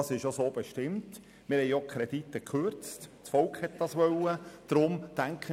Das ist so bestimmt, wir haben Kredite gekürzt, das Volk hat so entschieden.